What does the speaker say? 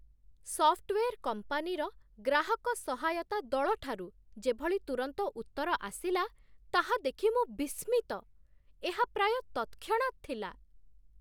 Software କମ୍ପାନୀର ଗ୍ରାହକ ସହାୟତା ଦଳଠାରୁ ଯେଭଳି ତୁରନ୍ତ ଉତ୍ତର ଆସିଲା ତାହା ଦେଖି ମୁଁ ବିସ୍ମିତ। ଏହା ପ୍ରାୟ ତତ୍‌କ୍ଷଣାତ୍ ଥିଲା!